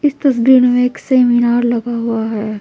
इस तस्वीर मैं एक सेमिनार लगा हुआ है।